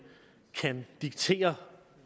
kan diktere